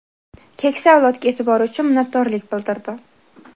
keksa avlodga e’tibori uchun minnatdorlik bildirdi.